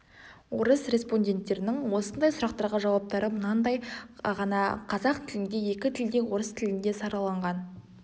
орыс респондеттерінің осындай сұрақтарға жауаптары мынадай ғана қазақ тілінде екі тілде орыс тілінде сараланған